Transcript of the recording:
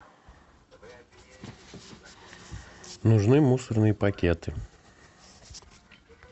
нужны мусорные пакеты